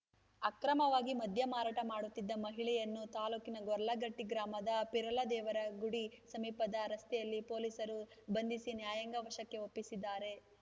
ಅಕ್ರಮವಾಗಿ ಮದ್ಯ ಮಾರಾಟ ಮಾಡುತ್ತಿದ್ದ ಮಹಿಳೆಯನ್ನು ತಾಲೂಕಿನ ಗೊರ್ಲಕಟ್ಟೆಗ್ರಾಮದ ಪೀರಲದೇವರ ಗುಡಿ ಸಮೀಪದ ರಸ್ತೆಯಲ್ಲಿ ಪೊಲೀಸರು ಬಂಧಿಸಿ ನ್ಯಾಯಾಂಗ ವಶಕ್ಕೆ ಒಪ್ಪಿಸಿದ್ದಾರೆ